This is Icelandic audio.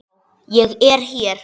Já, ég er hér.